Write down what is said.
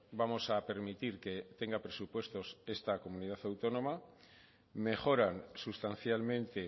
vamos a permitir que tenga presupuestos esta comunidad autónoma mejoran sustancialmente